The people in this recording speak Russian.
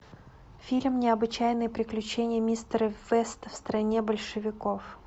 фильм необычайные приключения мистера веста в стране большевиков